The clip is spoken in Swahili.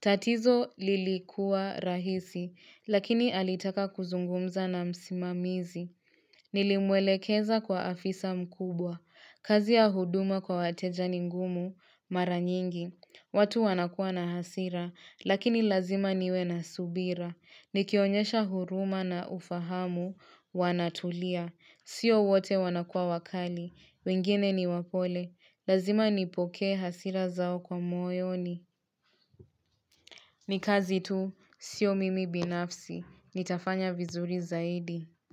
Tatizo lilikua rahisi, lakini alitaka kuzungumza na msimamizi. Nilimwelekeza kwa afisa mkubwa, kazi ya huduma kwa wateja ni ngumu mara nyingi. Watu wanakua na hasira, lakini lazima niwe na subira. Nikionyesha huruma na ufahamu, wanatulia. Sio wote wanakua wakali. Wingine ni wapole. Lazima nipokee hasira zao kwa moyoni. Nikazi tu, sio mimi binafsi. Nitafanya vizuri zaidi.